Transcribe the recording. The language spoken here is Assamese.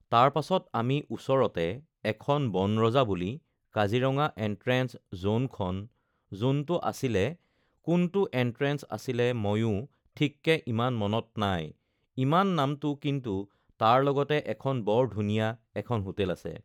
তাৰ পাছত আমি ওচৰতে এখন বনৰজা বুলি কাজিৰঙা এনট্ৰেন্স যোনখন যোনটো আছিলে কোনটো এনট্ৰেন্স আছিলে মইয়ো ঠিককে ইমান মনত নাই ইমান নামটো কিন্তু তাৰ লগতে এখন বৰ ধুনীয়া এখন হোটেল আছে